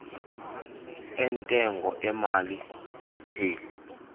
entengo emali retail